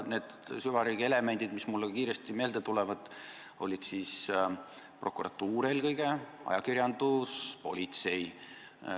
Need süvariigi elemendid, mis mulle kiiresti meelde tulevad, olid eelkõige prokuratuur, ajakirjandus, politsei.